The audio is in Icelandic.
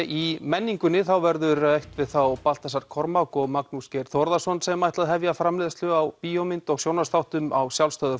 í menningunni verður rætt við þá Baltasar Kormák og Magnús Geir Þórðarson sem ætla að hefja framleiðslu á bíómynd og sjónvarpsþáttum á sjálfstæðu